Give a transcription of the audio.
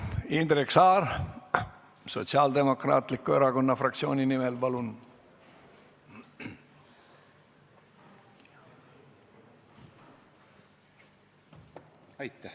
Indrek Saar Sotsiaaldemokraatliku Erakonna fraktsiooni nimel, palun!